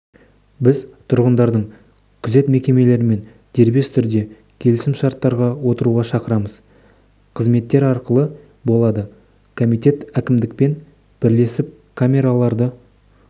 біз тұрғындардың күзет мекемелерімен дербес түрде келісім-шарттарға отыруға шақырамыз қызметтер ақылы болады комитет әкімдікпен бірлесіп камераларды